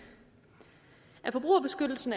at forbrugerbeskyttelsen